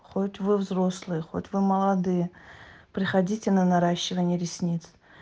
хоть вы взрослые хоть вы молодые приходите на наращивание ресниц